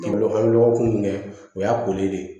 an lɔgɔ kun bɛ o y'a koli de ye